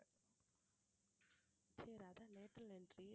சரி அதான் lateral entry